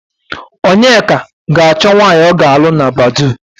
Onyeka ga-achọ nwạanyị ọ ga-alụ na Badoo.